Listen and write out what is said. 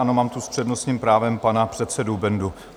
Ano, mám tu s přednostním právem pana předsedu Bendu.